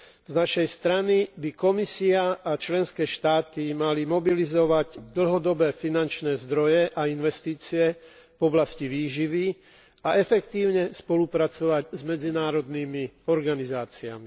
Z našej strany by Komisia a členské štáty mali mobilizovať dlhodobé finančné zdroje a investície v oblasti výživy a efektívne spolupracovať s medzinárodnými organizáciami.